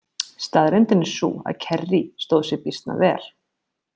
Staðreyndin er sú að Kerry stóð sig býsna vel.